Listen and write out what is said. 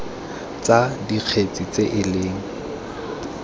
tsa dikgetse tse e leng